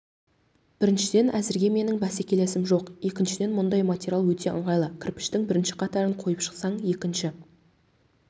біріншіден әзірге менің бәсекелесім жоқ екіншіден мұндай материал өте ыңғайлы кірпіштің бірінші қатарын қойып шықсаң екіншісі